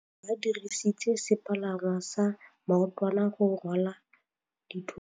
Ba dirisitse sepalangwasa maotwana go rwala dithôtô.